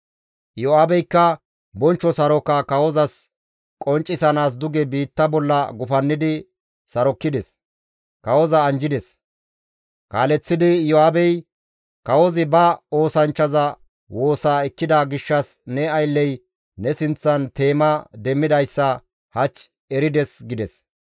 Iyo7aabeykka bonchcho saroka kawozas qonccisanaas duge biitta bolla gufannidi sarokkides; kawoza anjjides; kaaleththidi Iyo7aabey, «Kawozi ba oosanchchaza woosaa ekkida gishshas ne aylley ne sinththan teema demmidayssa hach erides» gides.